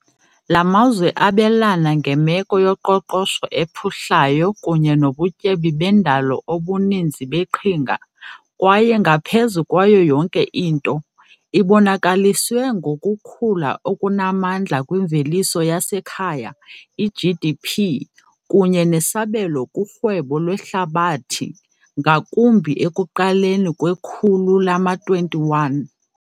La mazwe abelana ngemeko yoqoqosho ephuhlayo kunye nobutyebi bendalo obuninzi beqhinga kwaye, ngaphezu kwayo yonke into, ibonakaliswe ngokukhula okunamandla kwimveliso yasekhaya, GDP, kunye nesabelo kurhwebo lwehlabathi, ngakumbi ekuqaleni kwekhulu lama-21.